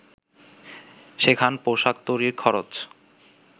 সেখান পোশাক তৈরির খরচ